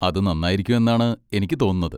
അത് നന്നായിരിക്കും എന്നാണ് എനിക്ക് തോന്നുന്നത്.